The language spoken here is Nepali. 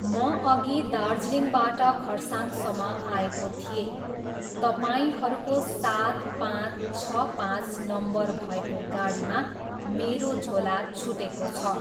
म अघि दार्जिलिङबाट खरसाङसम्म आएको थिएँ, तपाईँहरूको सात पाँच छ पाँच नम्बर भएको गाडीमा मेरो झोला छुटेको छ।